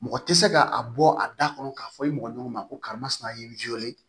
Mɔgɔ tɛ se ka a bɔ a da kɔnɔ k'a fɔ i mɔgɔ ɲɔgɔn ma ko karisa masina ye